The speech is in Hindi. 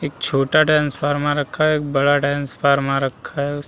एक छोटा डांस फार्मा रखा है। एक बड़ा डांस फार्मा रखा है। उस --